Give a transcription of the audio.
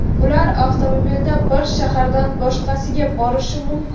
ular avtomobilda bir shahardan boshqasiga borishi mumkin.